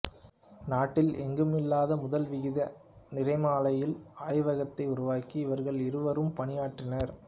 நாட்டில் எங்குமில்லாத முதல் விகித நிறமாலையியல் ஆய்வகத்தை உருவாக்க இவர்கள் இருவரும் பணியாற்றினர்